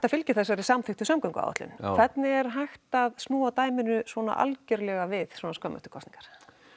að fylgja þessari samþykktu samgönguáætlun hvernig er hægt að snúa dæminu svona algerlega við svona skömmu eftir kosningar